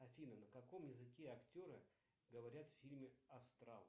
афина на каком языке актеры говорят в фильме астрал